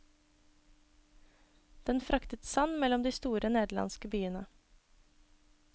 Den fraktet sand mellom de store nederlandske byene.